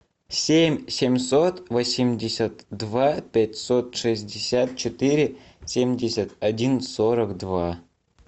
семь семьсот восемьдесят два пятьсот шестьдесят четыре семьдесят один сорок два